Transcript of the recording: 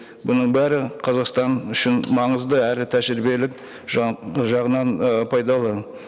бұның бәрі қазақстан үшін маңызды әрі тәжірибелік жағынан ы пайдалы